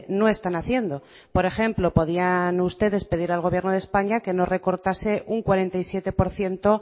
no están haciendo por ejemplo podían ustedes pedirle al gobierno de españa que no recortase un cuarenta y siete por ciento